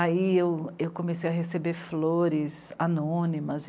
Aí eu comecei a receber flores anônimas.